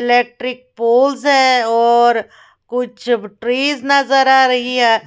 electric poles है और कुछ ब ट्रीज नजर आ रही है